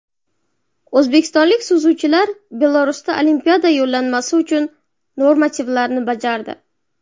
O‘zbekistonlik suzuvchilar Belarusda Olimpiada yo‘llanmasi uchun normativlarni bajardi.